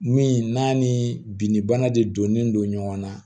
Min n'a ni bin bana de donnen don ɲɔgɔn na